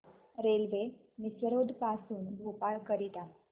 railway Misrod पासून भोपाळ करीता